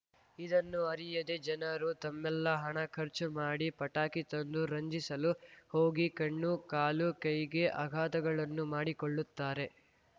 ಇದನ್ನು ಅರಿಯದೇ ಜನರು ತಮ್ಮೆಲ್ಲ ಹಣ ಖರ್ಚು ಮಾಡಿ ಪಟಾಕಿ ತಂದು ರಂಜಿಸಲು ಹೋಗಿ ಕಣ್ಣು ಕಾಲು ಕೈಗೆ ಅಘಾತಗಳನ್ನು ಮಾಡಿಕೊಳ್ಳುತ್ತಾರೆ